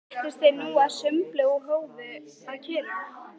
Settust þeir nú að sumbli og hófu að kyrja